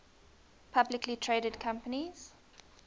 publicly traded companies